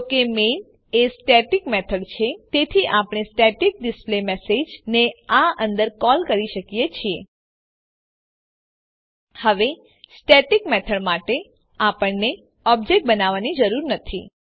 જો કે મેઇન એ સ્ટેટીક મેથડ છે તેથી આપણે સ્ટેટીક ડિસ્પ્લેમેસેજ ને આ અંદર કોલ કરી શકીએ છીએ હવે સ્ટેટીક મેથડ માટે આપણને ઓબ્જેક્ટ બનાવવાની જરૂર નથી